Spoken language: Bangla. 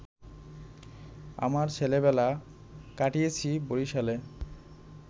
আমার ছেলেবেলা কাটিয়েছি বরিশালে